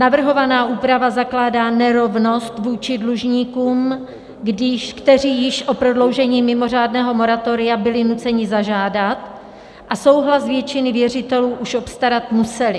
Navrhovaná úprava zakládá nerovnost vůči dlužníkům, kteří již o prodloužení mimořádného moratoria byli nuceni zažádat a souhlas většiny věřitelů už obstarat museli.